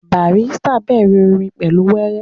Barrister bẹ̀rẹ̀ orin pẹ̀lú wéré